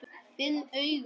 Finn augun.